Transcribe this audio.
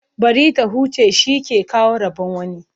Bari ta huce, shi ke kawo rabon wani.